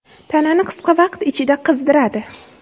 Tanani qisqa vaqt ichida qizdiradi.